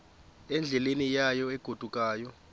endleleni yayo egodukayo